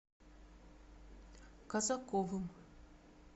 казаковым